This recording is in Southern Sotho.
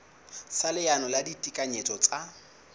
sa leano la ditekanyetso tsa